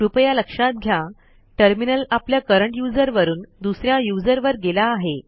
कृपया लक्षात घ्या टर्मिनल आपल्या करंट यूझर वरून दुस या यूझर वर गेला आहे